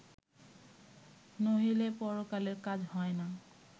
নহিলে পরকালের কাজ হয় না